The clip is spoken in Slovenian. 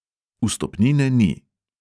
Vstopnine ni.